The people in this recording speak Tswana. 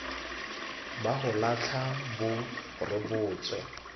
ba go latlha bo rebotswe